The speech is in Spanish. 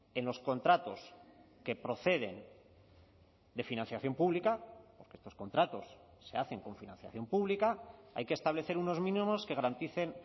en los contratos que proceden de financiación pública porque estos contratos se hacen con financiación pública hay que establecer unos mínimos que garanticen